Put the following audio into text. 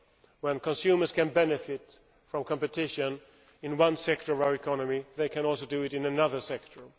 When consumers can benefit from competition in one sector of our economy, they can also do so in another sector.